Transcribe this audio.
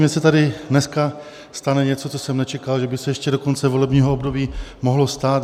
Mně se tady dneska stalo něco, co jsem nečekal, že by se ještě do konce volebního období mohlo stát.